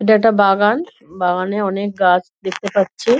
এটা একটা বাগান বাগানে অনেক গাছ দেখতে পাচ্ছি।